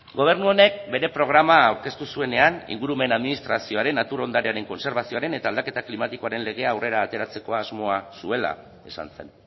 gobernu honek bere programa aurkeztu zuenean ingurumen administrazioaren natur ondarearen kontserbazioaren eta aldaketa klimatikoaren legea aurrera ateratzeko asmoa zuela esan zen